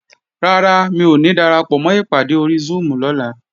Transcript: Rárá, mi ò ní darapọ̀mọ́ ìpàdé ori Zoom lọ́la